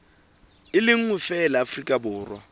le nngwe feela afrika borwa